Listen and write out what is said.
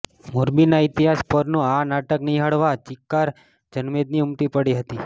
મોરબીના ઇતિહાસ પરનું આ નાટક નિહાળવા ચિક્કાર જનમેદની ઉમટી પડી હતી